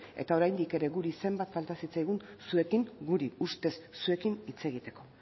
eta oraindik ere guri zenbait falta zitzaigun zuekin guri ustez zuekin hitz egiteko